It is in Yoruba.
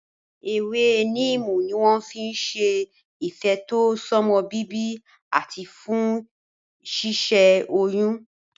Ewé níìmù ni wọ́n fi n ṣe ìfètò sọ́mọbíbí àti fún ṣíṣẹ́ oyún